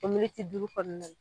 O Militi duuru kɔnɔna na